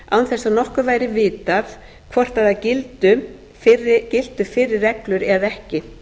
að nokkuð væri vitað hvort það giltu fyrri reglur eða ekki